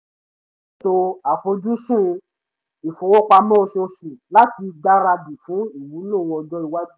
ó ṣètò àfojúsùn ìfowópamọ́ oṣooṣù láti gbáradì fún ìwúlò ọjọ́ iwájú